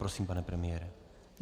Prosím, pane premiére.